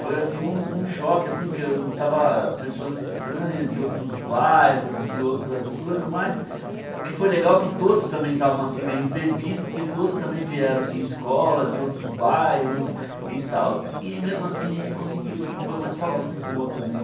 Foi assim um um choque assim, porque estava pessoas estranhas de outros bairros, de outras coisas, mas o que foi legal é que todos também estavam meio perdidos, porque todos também vieram de escola, de outros bairros e tal, e mesmo assim a gente conseguiu, e foi uma escola muito boa também.